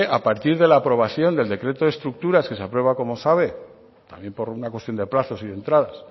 a partir de la aprobación del decreto de estructuras que se aprueba como sabe también por una cuestión de plazos y de entradas